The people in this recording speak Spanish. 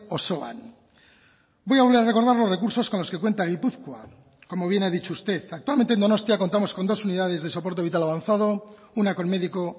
osoan voy a recordar los recursos con los que cuenta gipuzkoa como bien ha dicho usted actualmente en donostia contamos con dos unidades de soporte vital avanzado una con médico